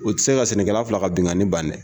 U ti se ka sɛnɛkɛla fila ka binkani ban dɛ